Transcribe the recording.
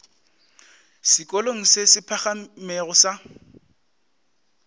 sekolong se se phagamego sa